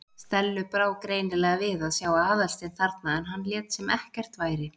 Stellu brá greinilega við að sjá Aðalstein þarna en hann lét sem ekkert væri.